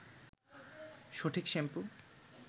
সঠিক শ্যাম্পু